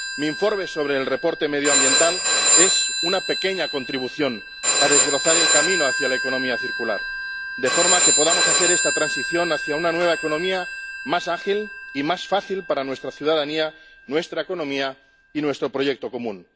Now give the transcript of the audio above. Mi informe sobre la información medioambiental es una pequeña contribución a desbrozar el camino hacia la economía circular de forma que podamos hacer esta transición hacia una nueva economía más ágil y más fácil para nuestra ciudadanía, nuestra economía y nuestro proyecto común.